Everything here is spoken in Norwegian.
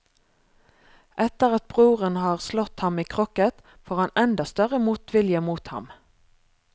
Etter at broren har slått ham i krokket, får han enda større motvilje mot ham.